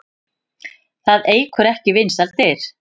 Það eykur ekki vinsældir.